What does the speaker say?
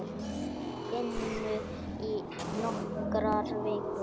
inu í nokkrar vikur.